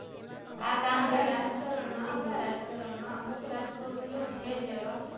આપણા રાજકરણમાં અમુક રાજ્ક્ર્મીયો છે જ એવા